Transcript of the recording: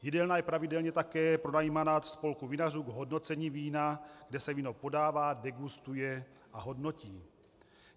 Jídelna je pravidelně také pronajímána spolku vinařů k hodnocení vína, kde se víno podává, degustuje a hodnotí.